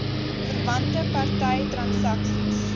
verwante party transaksies